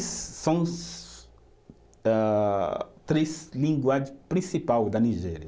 São os ah, três língua principal da Nigéria.